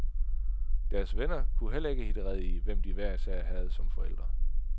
Deres venner kunne heller ikke hitte rede i, hvem de hver især havde som forældre.